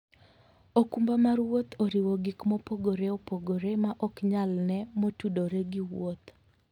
okumba mar wuoth oriwo gik mopogore opogore ma ok nyal ne motudore gi wuoth.